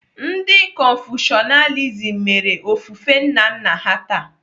Ndị Konfushianism mere ofufe nna nna ha taa.